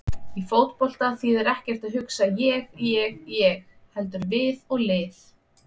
Í fótbolta þýðir ekkert að hugsa ég- ég- ég heldur við og lið.